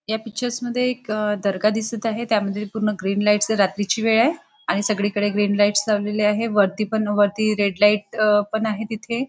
ह्या पिक्चर मध्ये एक दर्गा दिसत आहे त्यामध्ये ग्रीन लाइटस रात्री ची वेळ आहे आणि सगळी कडे ग्रीन ग्रीन लाइट लाइटस लावलेले आहे वरती रेड लाइट पण आहे तिथे.